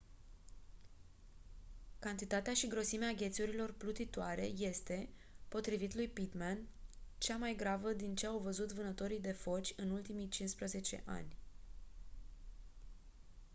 cantitatea și grosimea ghețurilor plutitoare este potrivit lui pittman cea mai gravă din ce au văzut vânătorii de foci în ultimii 15 ani